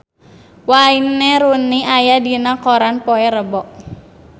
Wayne Rooney aya dina koran poe Rebo